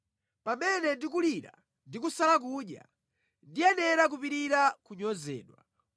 Pamene ndikulira ndi kusala kudya, ndiyenera kupirira kunyozedwa;